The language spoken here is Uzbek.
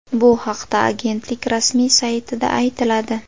Bu haqda Agentlik rasmiy saytida aytiladi .